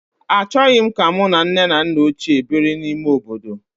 Achọghị m ka mụ na nne na nna ochie biri n'ime obodo